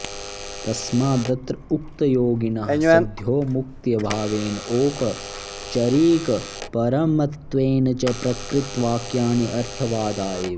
तस्मादत्र उक्तयोगिनः सद्योमुक्त्यभावेन औपचरिकपरमत्त्वेन च प्रकृतवाक्यानि अर्थवादा एव